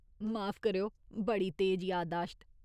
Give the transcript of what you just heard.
माफ करेओ, बड़ी तेज यादाश्त।